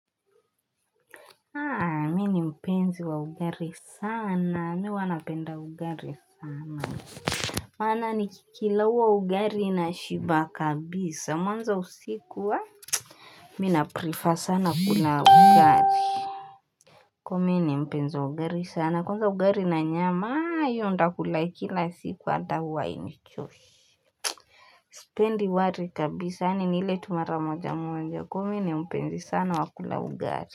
Mi mpenzi wa ugali sana, miwa anapenda ugali sana. Mana nikikilau wa ugali na shiba kabisa, mwanza usiku wa? Mi na prefer sana kuna ugari. Kuwa mpenzi wa ugari sana, kwanza ugari na nyama, iyo ndakula ikila siku wa huwa hainichoshi. Sipendi wari kabisa, ani ni ile tu mara moja moja, kuwa mi mpenzi sana wa kula ugari.